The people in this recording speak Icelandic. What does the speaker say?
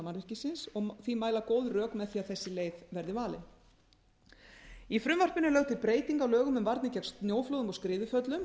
mannvirkisins og því mæla góð rök með því að þessi leið verði valin í frumvarpinu er lögð til breyting á lögum um varnir gegn snjóflóðum og skriðuföllum